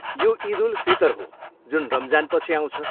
यो इद उल फितर हो, जुन रमजानपछि आउँछ।